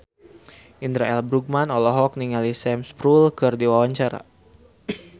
Indra L. Bruggman olohok ningali Sam Spruell keur diwawancara